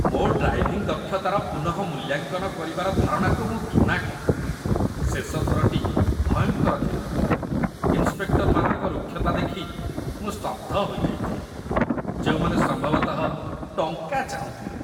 ମୋ ଡ୍ରାଇଭିଂ ଦକ୍ଷତାର ପୁନଃମୂଲ୍ୟାଙ୍କନ କରିବାର ଧାରଣାକୁ ମୁଁ ଘୃଣା କରେ ଶେଷ ଥରଟି ଭୟଙ୍କର ଥିଲା। ଇନ୍ସପେକ୍ଟର୍‌ମାନଙ୍କ ରୁକ୍ଷତା ଦେଖି ମୁଁ ସ୍ତବ୍ଧ ହୋଇଯାଇଥିଲି, ଯେଉଁମାନେ ସମ୍ଭବତଃ ଟଙ୍କା ଚାହୁଁଥିଲେ ।